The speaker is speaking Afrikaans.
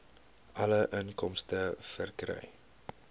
alle inkomste verkry